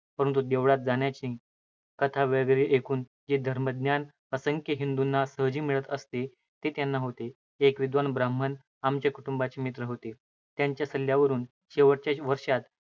परंतु देवळात जाण्याने, कथा वगैरे ऐकून जे धर्मज्ञान असंख्य हिंदूंना सहजी मिळत असते, ते त्यांना होते. एक विद्वान ब्राह्मण आमच्या कुटुंबाचे मित्र होते. त्यांच्या सल्ल्यावरून शेवटच्या वर्षात